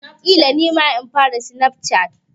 Ƙila nima in fara snap chatting.